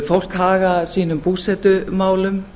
fólk haga sínum búsetumálum